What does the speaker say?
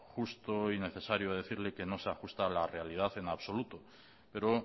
justo y necesario decirle que no se ajusta a la realidad en absoluto pero